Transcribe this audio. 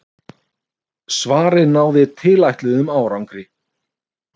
Svarið náði tilætluðum árangri.